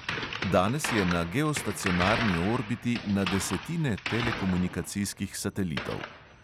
Danes je na geostacionarni orbiti na desetine telekomunikacijskih satelitov.